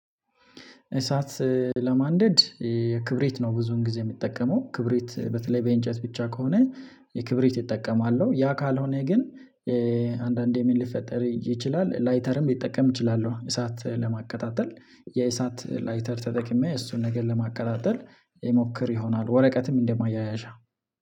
እሳት ለማንደድ ክብሪት ነው። ብዙን ጊዜ የምትጠቀመው ክብሪት በተለይ በእንጨት ብቻ ከሆነ ክብሪት እጠቀማለሁ ያ ካልሆነ ግን። አንዳንዴ ምን ሊፈጠር ይችላል ላይተርም ልትጠቀም ይችላል። እሳት ለማቀጣጠል የእሳት ላይተር ተጠቅሜ እሱን ነገር ለማቀጣጠል እሞክር ይሆናል። ወረቀትም እንደማያያዣ